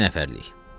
İki nəfərlik.